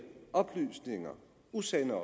oplysninger usande